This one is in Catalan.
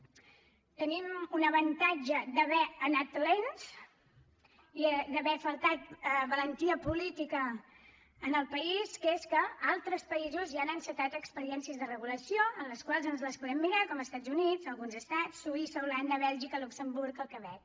tenim un avantatge d’haver anat lents i d’haver faltat valentia política en el país que és que altre països ja han encetat experiències de regulació en les quals ens les podem mirar com els estats units alguns estats suïssa holanda bèlgica luxemburg el quebec